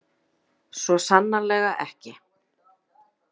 Svo sannarlega ekki.